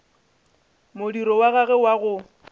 modiro wa gagwe wa go